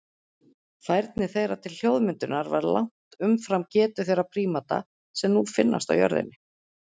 Færni þeirra til hljóðmyndunar var langt umfram getu þeirra prímata sem nú finnast á jörðinni.